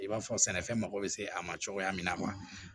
I b'a fɔ sɛnɛfɛn mago bɛ se a ma cogoya min na